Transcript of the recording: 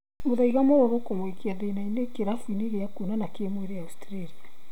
mũthaiga mũrũrũ kũmũikia thĩna-inĩ kĩrabu-inĩ gĩa kuonana kĩmwĩrĩ Australia